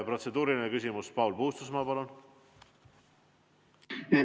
Protseduuriline küsimus, Paul Puustusmaa, palun!